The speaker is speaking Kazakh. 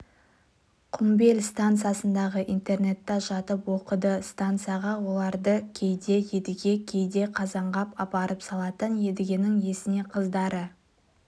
құмбел станциясындағы интернатта жатып оқыды станцияға оларды кейде едіге кейде қазанғап апарып салатын едігенің есіне қыздары